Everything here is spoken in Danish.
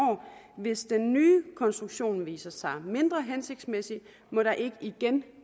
hvis den nye konstruktion viser sig at være mindre hensigtsmæssig må der ikke igen